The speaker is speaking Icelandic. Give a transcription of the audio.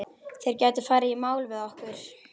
Þeir gætu farið í mál við okkur.